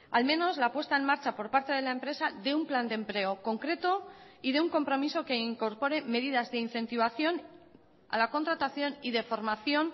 al menos la puesta en marcha por parte de la empresa de un plan de empleo concreto y de un compromiso que incorporé medidas de incentivación a la contratación y de formación